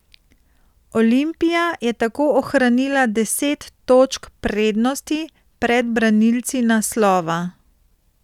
Olimpija je tako ohranila deset točk prednosti pred branilci naslova.